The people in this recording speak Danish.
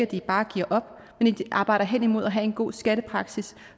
de bare giver op men at de arbejder hen imod at have en god skattepraksis